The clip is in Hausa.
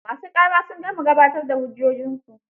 Ma su ƙara sun gama gabatar da hujjojinsu.